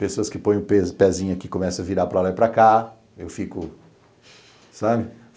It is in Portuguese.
Pessoas que põem o pezinho aqui e começam a virar para lá e para cá, eu fico, sabe?